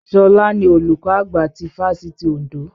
Ṣọlá ni olùkọ́ àgbà ti fáfitì Òndó.